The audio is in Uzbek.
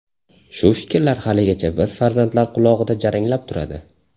Shu fikrlar haligacha biz farzandlar qulog‘ida jaranglab turadi.